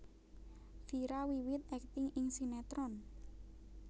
Vira wiwit akting ing sinétron